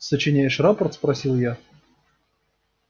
сочиняешь рапорт спросил я